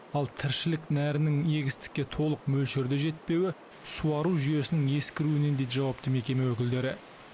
ал тіршілік нәрінің егістікке толық мөлшерде жетпеуі суару жүйесінің ескіруінен дейді жауапты мекеме өкілдері